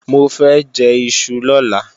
Mo fẹ́ jẹ́ iṣu lọ́la